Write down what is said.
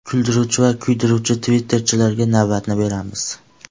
Kuldiruvchi va kuydiruvchi Twitter’chilarga navbatni beramiz.